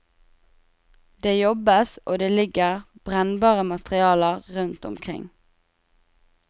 Det jobbes og det ligger brennbare materialer rundt omkring.